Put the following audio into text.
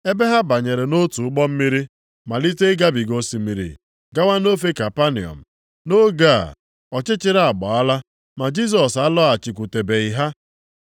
ebe ha banyere nʼotu ụgbọ mmiri, malite ịgabiga osimiri gawa nʼofe Kapanọm. Nʼoge a ọchịchịrị agbaala ma Jisọs alọghachikwutebeghị ha.